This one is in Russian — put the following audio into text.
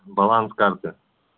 баланс карты